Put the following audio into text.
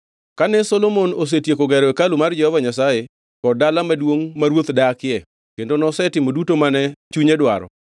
Kane Solomon osetieko gero hekalu mar Jehova Nyasaye kod dala maduongʼ ma ruoth dakie kendo nosetimo duto mane chunye dwaro,